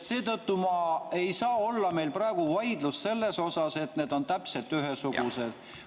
Seetõttu ei saa meil praegu olla vaidlust selle üle, et need on täpselt ühesugused.